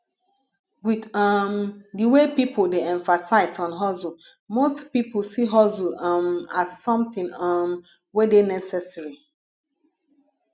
with um di wey pipo dey emphasize on hustle most pipo see hustle um as something um we dey necessary